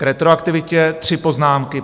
K retroaktivitě tři poznámky.